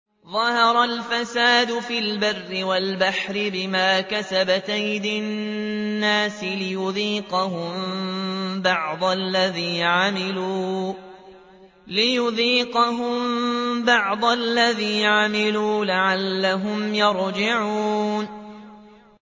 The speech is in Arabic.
ظَهَرَ الْفَسَادُ فِي الْبَرِّ وَالْبَحْرِ بِمَا كَسَبَتْ أَيْدِي النَّاسِ لِيُذِيقَهُم بَعْضَ الَّذِي عَمِلُوا لَعَلَّهُمْ يَرْجِعُونَ